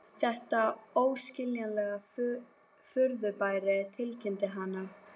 Þetta er óskiljanlegt furðufyrirbæri tilkynnti hann.